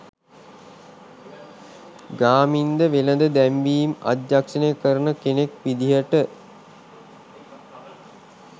ගාමින්ද වෙළෙඳ දැන්වීම් අධ්‍යක්ෂණය කරන කෙනෙක් විදියට